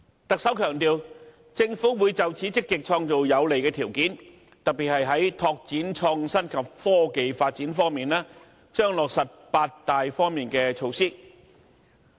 特首強調，政府會就此積極創造有利條件，特別是在拓展創新及科技發展方面，將落實八大方面的措施。